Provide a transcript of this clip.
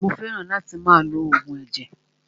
Mó fẹràn láti máa lo oògùn ẹ̀jẹ̀.